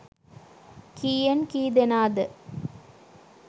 කීයෙන් කී දෙනාද.